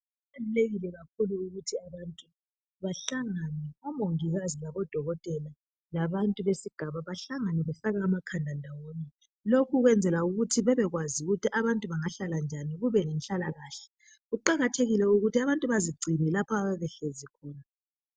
Kubalulekile kakhulu ukuthi abantu bahlangane omongikazi ,labodokotela ,labantu besigaba bahlangane befake amakhanda ndawonye. Lokhu kwenzelwa ukuthi bebekwazi ukuthi abantu bengahlala njani kube lenhlalakahle. Kuqakathekile ukuthi abantu bazigcine lapho ababehlezi khona